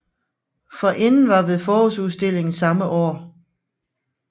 Forinden var ved forårsudstillingen samme år